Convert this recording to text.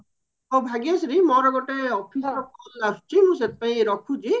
ହଉ ଭାଗ୍ୟଶ୍ରୀ ମୋରତା ଗୋଟେ office call ଆସୁଛି ମୁଁ ରଖୁଛି